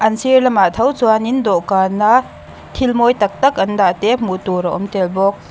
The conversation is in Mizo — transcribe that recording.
an sir lamah tho chuan in dawhkan a thil mawi tak tak an dah te hmuh tur a awm tel bawk.